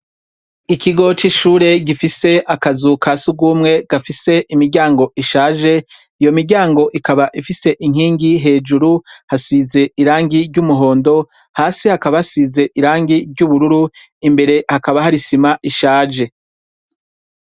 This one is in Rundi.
Ikigo c'ishure gifis' akazu kasugumwe gafis' imiryang' ishaje, iyo miryang' ikab' ifis' inkingi hejuru hasize irangi ry' umuhondo, hasi hakaba hasiz' irangi ry' ubururu, imbere hakaba har' isim' ishaje.